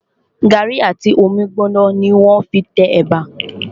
Gàrí àti omi gbóná ni wọ́n fí n te ẹ̀bà